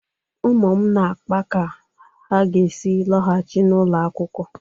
Ụmụ m na-akpa ka ha ga-esi lọghachi n'ụlọ akwụkwọ.